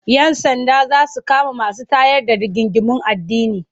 Yan sanda za su kama masu tayar da rigingimun addini.